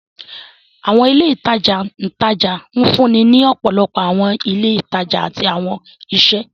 Awọn ile itaja itaja nfunni ni ọpọlọpọ awọn ile itaja ati awọn iṣẹ.